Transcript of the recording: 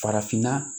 Farafinna